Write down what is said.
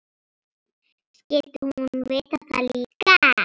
Skyldi hún vita það líka?